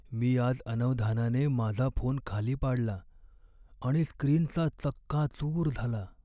मी आज अनवधानाने माझा फोन खाली पाडला आणि स्क्रीनचा चक्काचूर झाला.